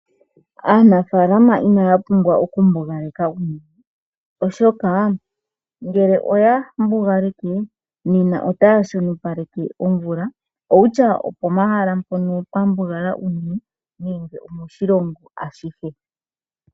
Aanafalama inaya pumbwa oku mbugaleka uunene ,oshoka ngele oya mbugaleke nena otaya shonopaleke omvula oko kutya opo mahala mpono pwa mbugala unene nenge omoshilongo ashihe.